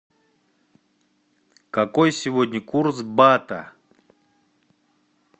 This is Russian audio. какой сегодня курс бата